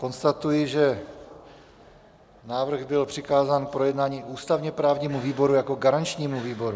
Konstatuji, že návrh byl přikázán k projednání ústavně-právnímu výboru jako garančnímu výboru.